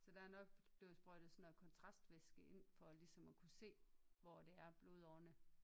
Så der er nok blevet sprøjtet sådan noget kontrastvæske ind for ligesom at kunne se hvor det er blodårene